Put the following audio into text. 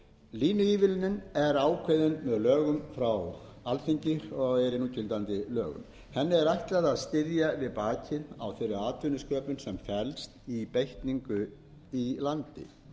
línuívilnun er ákveðin með lögum frá alþingi og er í núgildandi lögum henni er ætlað að styðja við bakið á þeirri atvinnusköpun sem felst í beitningu í landi